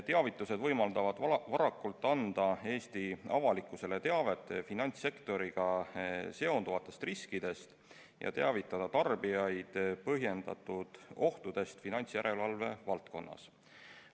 Teavitused võimaldavad varakult anda Eesti avalikkusele teavet finantssektoriga seonduvatest riskidest ja teavitada tarbijaid põhjendatud ohtudest finantsjärelevalve valdkonnas.